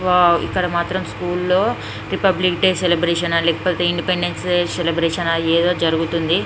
Wow ఇక్కడ మాత్రం school లో రిపబ్లిక్ డే సెలబ్రేషన్ ఆ లేకపోతే ఇండిపెండెన్స్ డే సెలబ్రేషన్ ఆ ఏదో జరుగుతుంది.